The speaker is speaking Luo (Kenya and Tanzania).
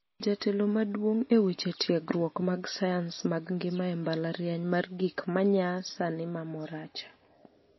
Jatelo maduong' eweche tiegruok mag sayans mag ngima e mbalariany mar gik manyaa sani ma Moracha